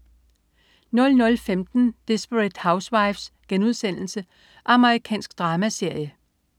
00.15 Desperate Housewives.* Amerikansk dramaserie